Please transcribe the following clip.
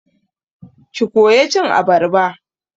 Ki koya cin abarba!